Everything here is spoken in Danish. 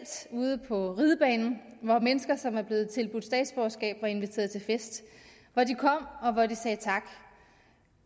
ude på ridebanen hvor mennesker som er blevet tilbudt statsborgerskab var inviteret til fest hvor de kom og hvor de sagde tak